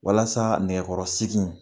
Walasa nɛkɛkɔrɔsiki in